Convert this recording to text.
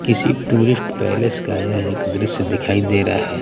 किसी tourist place का ये एक द्श्य दिखाई दे रहा हैं।